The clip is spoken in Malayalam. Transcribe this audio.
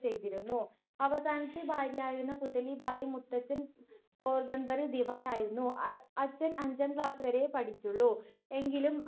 ചെയ്തിരുന്നു. അവസാനത്തെ ഭാര്യയായിരുന്നു പുത്‍ലിബായി. മുത്തച്ഛൻ പോർബന്ദറിൽ ദിവാൻ ആയിരുന്നു. അച്ഛൻ അഞ്ചാം ക്ലാസുവരെയെ പഠിച്ചുള്ളൂ എങ്കിലും